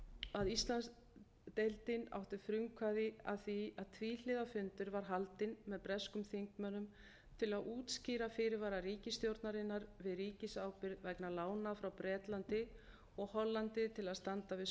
að íslandsdeildin átti frumkvæði að því að tvíhliða fundur var haldinn með breskum þingmönnum til að útskýra fyrirvara ríkisstjórnarinnar við ríkisábyrgð vegna lána frá bretlandi og hollandi til að standa við